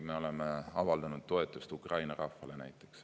Me oleme näiteks avaldanud toetust Ukraina rahvale.